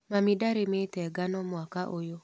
Mami ndarĩmĩte ngano mwaka ũyũ.